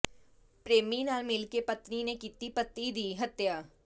ਪ੍ਰੇਮੀ ਨਾਲ ਮਿਲ ਕੇ ਪਤਨੀ ਨੇ ਕੀਤੀ ਪਤੀ ਦੀ ਹੱਤਿਆ